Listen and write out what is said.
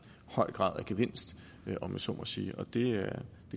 høj grad af gevinst om jeg så må sige og det